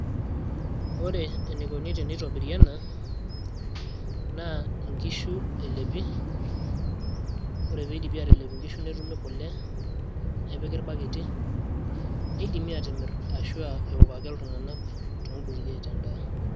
ore eneikoni teneitobiri ena, naa nkishu elepi, ore pee eidipi aatalep inkishu, netumi kule, nepiki irbaketi. neidimi aatimir ashu eok ake iltung'anak too nkutukie aitaa edaa.